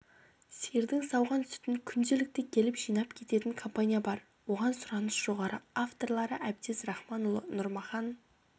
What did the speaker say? сиырдың сауған сүтін күнделікті келіп жинап кететін компания бар оған сұраныс жоғары авторлары әбдез рахманұлы нұрмахан